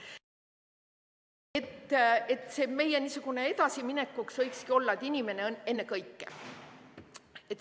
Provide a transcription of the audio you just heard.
Meie edasiminekul võikski olla, et inimene ennekõike.